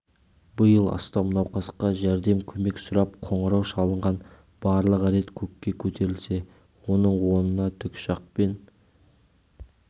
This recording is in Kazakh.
биыл астам науқасқа жәрдем көмек сұрап қоңырау шалынған барлығы рет көкке көтерілсе оның онына тікұшақпен